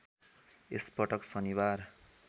यसपटक शनिबार